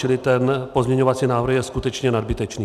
Čili ten pozměňovací návrh je skutečně nadbytečný.